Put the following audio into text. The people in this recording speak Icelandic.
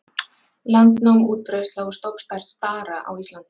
Landnám, útbreiðsla og stofnstærð stara á Íslandi